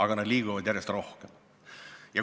Kuid nad liiguvad järjest rohkem.